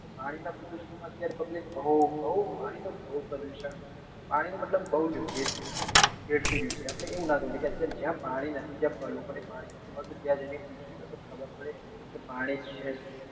પાણી નાં પ્રદુષણ માં અત્યારે public બઉ બઉ પાણી નું બઉ પ્રદુષણ પાણી નું મતલબ બઉ વેડફ વેડફી રહ્યું છે આપડે એવું નાં કરવું જોઈએ કે અત્યારે જ્યાં પાણી નથી ત્યાં ત્યાં જી ને પૂછો ને તો ખબર પડે કે પાણી છે શું